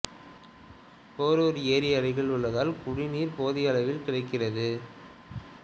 போரூர் ஏரி அருகில் உள்ளதால் குடிநீர் போதிய அளவில் கிடைக்கிறது